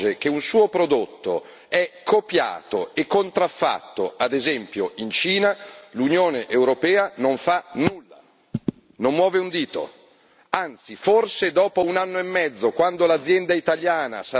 di mobili, di macchine tessili, di prodotti in ceramica si accorge che un suo prodotto è copiato e contraffatto, ad esempio in Cina, l'Unione europea non fa nulla, non muove un dito.